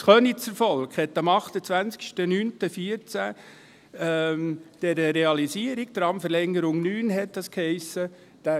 Das Könizer Volk stimmte den Gemeindekrediten für die «Realisierung Tramverlängerung 9» am 28.09.2014 zu.